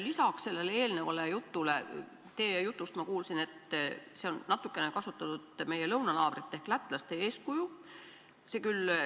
Lisaks kõigele muule kuulsin ma teie jutust ka seda, et on natukene kasutatud meie lõunanaabrite ehk lätlaste eeskuju.